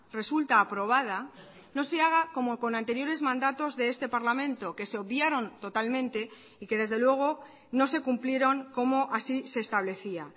resulta aprobada no se haga como con anteriores mandatos de este parlamento que se obviaron totalmente y que desde luego no se cumplieron como así se establecía